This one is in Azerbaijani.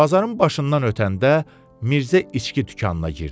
Bazarın başından ötəndə Mirzə içki dükanına girdi.